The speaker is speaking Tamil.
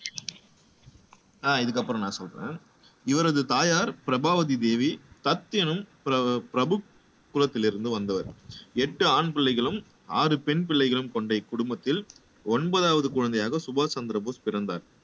அஹ் இதுக்கு அப்புறம் நான் சொல்றேன் இவரது தாயார் பிரபாவதி தேவி தத் எனும் பி பிரபு குளத்தில் இருந்து வந்தவர் எட்டு ஆண் பிள்ளைகளும் ஆறு பெண் பிள்ளைகளும் கொண்ட இக்குடும்பத்தில் ஒன்பதாவது குழந்தையாக சுபாஷ் சந்திரபோஸ் பிறந்தார்